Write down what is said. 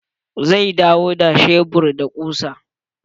Zai dawo da shebur da kusa.